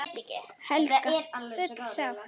Helga: Full sátt?